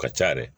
Ka ca yɛrɛ